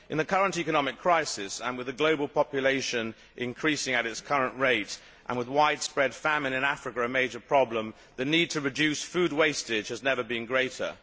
In the current economic crisis, with the global population increasing at its current rate and with widespread famine in Africa a major problem, the need to reduce food wastage has never been greater.